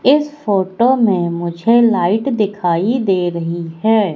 इस फोटो में मुझे लाइट दिखाई दे रही है।